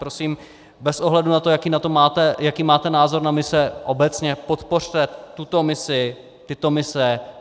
Prosím bez ohledu na to, jaký máte názor na mise obecně, podpořte tuto misi, tyto mise.